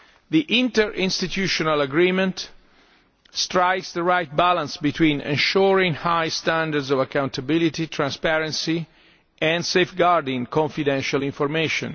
The interinstitutional agreement strikes the right balance between ensuring high standards of accountability, transparency and safeguarding confidential information.